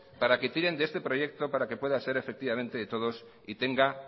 para que tiren de este proyecto para que pueda ser efectivamente de todos y tengan